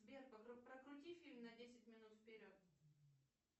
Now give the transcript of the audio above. сбер прокрути фильм на десять минут вперед